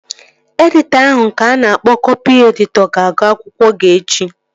Editọ ahụ nke a na-akpọ kọpị editọ ga-agụ akwụkwọ gị echi